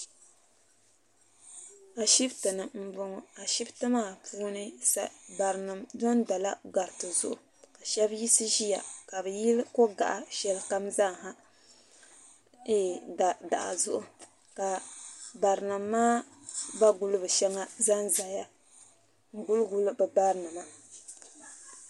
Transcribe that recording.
Ashipti ni m boŋɔ ashipti maa puuni barinima dondola gariti zuɣu ka sheba yiɣisi ʒia ka bɛ yili kogaɣa sheli kam zaa daɣu zuɣu ka barinima maa bariguliba sheba zanzaya n guli guli bɛ barinima.